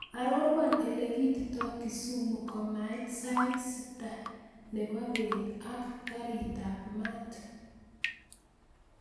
Arorwon elekiitito kisumu komait saa sita nepo bet ak garitab maat